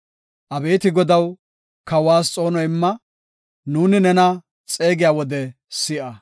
Abeeti Godaw, kawas xoono imma; nuuni nena xeegiya wode si7a.